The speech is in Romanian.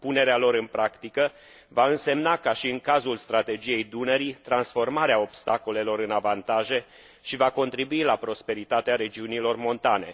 Punerea lor în practică va însemna, ca și în cazul Strategiei Dunării, transformarea obstacolelor în avantaje și va contribui la prosperitatea regiunilor montane.